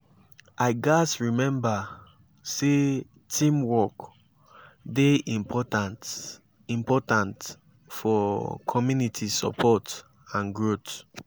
i gats remember say teamwork dey important important for community support and growth.